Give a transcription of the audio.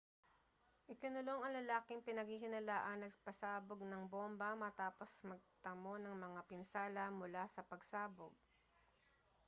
ikinulong ang lalaking pinaghinalaang nagpasabog ng bomba matapos magtamo ng mga pinsala mula sa pagsabog